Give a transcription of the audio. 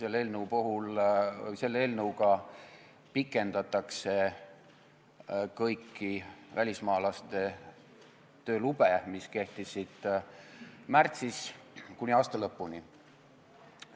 Eelnõuga pikendatakse kõiki välismaalaste töölube, mis kehtisid märtsis, kuni aasta lõpuni.